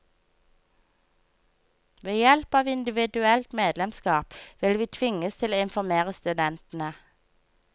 Ved hjelp av individuelt medlemskap vil vi tvinges til å informere studentene.